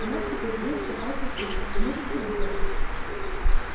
у нас теперь есть в запасе сутки может быть двое